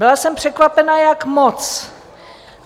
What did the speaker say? Byla jsem překvapená, jak moc.